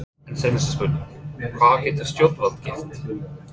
En seinasta spurningin, hvað geta stjórnvöld gert?